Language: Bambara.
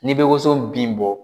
N'i bɛ woson bin bɔ